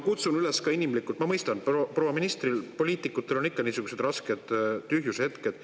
Teiseks, ma mõistan, et proua ministril, poliitikutel on ikka niisugused rasked tühjusehetked.